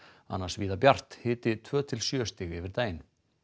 annars víða bjart hiti tveggja til sjö stig yfir daginn